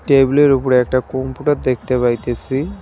টেবিলের উপরে একটা কম্পিউটার দেখতে পাইতেছি।